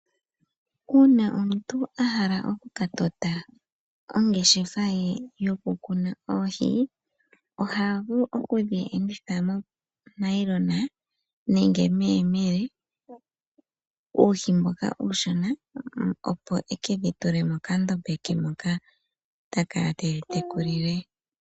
Uuna omuntu ahala oku ka tota ongeshefa ye yoku kuna oohi, oha vulu oku dhi enditha mo nailona nenge meyemele. Uuhi mboka uushona, opo eke dhi tule mokandombe ke moka ta kala tedhi teku lile.